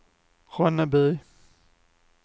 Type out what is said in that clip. Ronneby